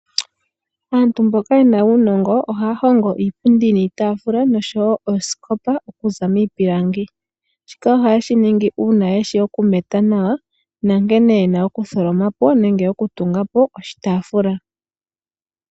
Aantu mboka ye na uunongo oha ya hongo Iipundi niitaafula nosho woo ooskopa oku za miipilangi. Shika oha ye shi ningi uuna ye shi oku meta nawa na nkene ye na oku tholomapo nenge oku tungapo oshitaafula.